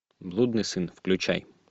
блудный сын включай